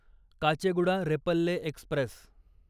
Kacheguda Repalle Express